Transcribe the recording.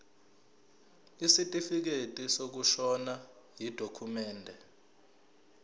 isitifikedi sokushona yidokhumende